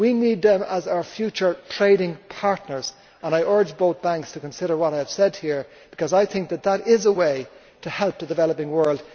We need them as our future trading partners and I urge both banks to consider what I have said here, because I think that is a way to help the developing world.